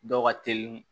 Dɔw ka teli